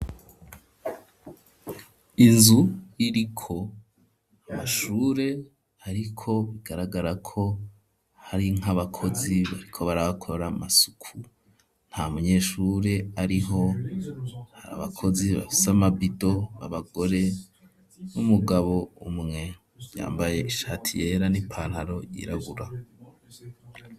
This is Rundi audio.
Inzu iriko amashure ariko bigaragarako hari nk'abakozi bariko barahakora amasuku ntamunyeshure ariho abakozi bafise amabido babagore n'umugabo umwe yambaye ishati yera n'ipantaro yirabura.